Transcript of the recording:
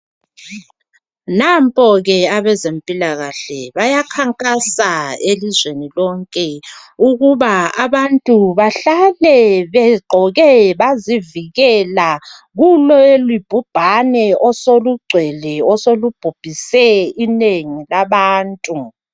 Nampo ke abezempilakahle bayakhankasa elizweni lonke ukuba abantu bahlale begqoke bazivikela kulelibhubhane osolugcwele osolubhubhise inengi labantu.